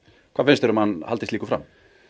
hvað finnst þér um að hann haldi slíku fram